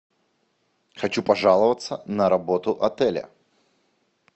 хочу пожаловаться на работу отеля